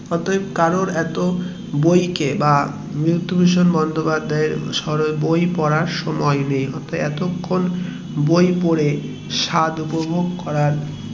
অতএব তাই কারোর বই কে বা বিভূতিভূষণ বন্দোপাধ্যায় এর বই পড়ার সময়ে নেই এতক্ষন বই পরে স্বাদ উপভোগ করার